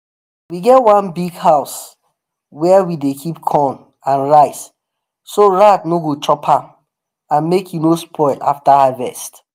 we get one big house where we dey keep corn and rice so rat no go chop am and make e no spoil after harvest.